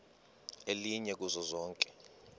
elinye kuzo zonke